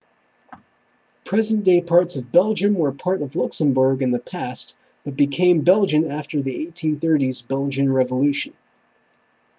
present-day parts of belgium were part of luxembourg in the past but became belgian after the 1830s belgian revolution